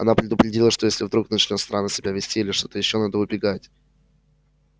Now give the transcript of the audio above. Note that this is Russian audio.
она предупредила что если вдруг начнёт странно себя вести или ещё что надо убегать